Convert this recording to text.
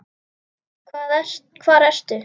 Hvar ertu?